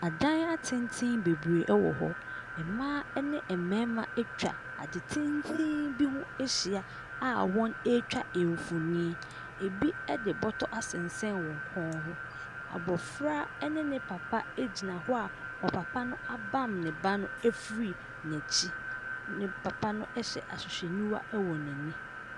Adan atenten bebree ɛwɔ hɔ. Mmaa ɛne ɛmɛɛma atwa ade tenteen bi ho ahyia a wɔn ɛɛtwa mfonin. Ɛbi ɛde bɔtɔ asensɛn wɔn kɔn ho. Abɔfra ɛne ne papa ɛgyina hɔ a ɔpapa no abam ne ba no afiri n'akyi. Ne papa no ɛhyɛ ahwehwɛniwa ɛwɔ n'ani.